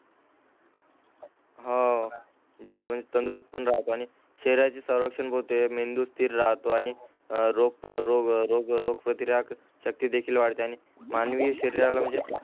हा जो तंदुरुस्त पण राहतो आणि शरीराची स्वरक्षण होते मेंदू स्थिर राहतो आणि रोग रोग प्रतिराक शक्ती देखील वाढते आणि मानवी शरीराला म्हणजे